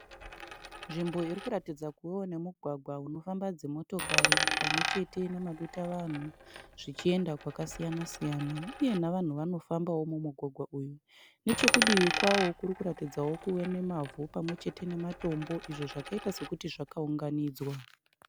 Nzvimbo irikuratidza kuvawo nemugwagwa unofamba dzimotokari pamwechete nemadutavanhu zvichienda kwakasiyana- siyana uye navanhu vanofambawo mumugwagwa umu. Nechekudivi kwawo kurikuratidzawo kuve nemavhu pamwechete nematombo izvo zvakaita sekuti zvakaunganidzwa.